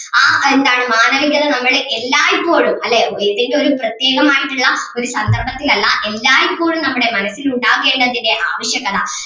ആ നേരത്ത് ആണ് മാനവികത നമ്മടെ എല്ലായ്‌പ്പോഴും അല്ലെ ഏതെങ്കിലും ഒരു പ്രത്യേകമായിട്ടുള്ള ഒരു സന്ദർഭത്തിൽ അല്ല എല്ലായ്‌പ്പോഴും നമ്മുടെ മനസ്സിൽ ഉണ്ടാകേണ്ടതിന്റെ ആവശ്യകത